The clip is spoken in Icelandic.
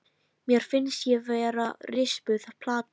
Mér finnst ég vera rispuð plata.